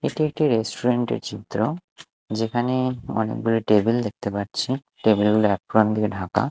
এটি একটি রেস্টুরেন্ট -এর চিত্র যেখানে অনেকগুলো টেবিল দেখতে পাচ্ছি টেবিল অ্যাপ্রন দিয়ে ঢাকা।